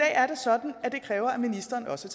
er det sådan at det kræver at ministeren også